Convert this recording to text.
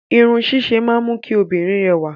Irun ṣíṣe máa ń mú kí obìnrin rẹwà.